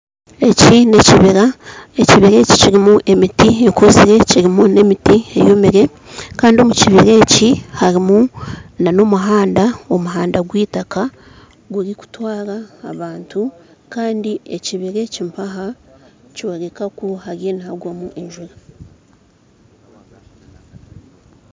Eki n'ekibira, ekibiira eki kirimu emiti ekuzire kirimu n'emiti eyomire kandi omu kibira eki harimu n'omuhanda, omuhanda gw'eitaka guri kutwara abantu kandi ekibira eki mpaha nikyoreka ku hariyo nihagwamu enjura